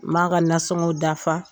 N b'a ka nasɔngɔw dafa